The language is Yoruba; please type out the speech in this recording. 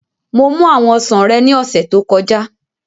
Mo mú àwọn ọsàn rẹ ní ọ̀sẹ̀ tó kọjá